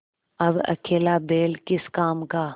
अब अकेला बैल किस काम का